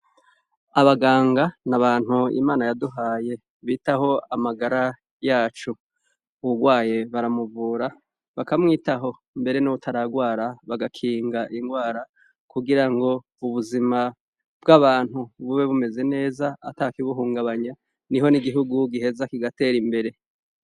Abaganga ni abantu imana yaduhaye bitaho amagara yacu burwaye baramuvura bakamwitaho mbere n'uwutaragwara bagakinga ingwara kugira ngo ubuzima bw'abantu bube bumeze neza ata kibuhungabanya ni ho n'igihugu giheza kigatera imbere re.